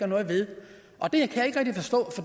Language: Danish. noget ved